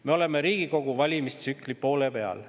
Me oleme Riigikogu valimistsükli poole peal.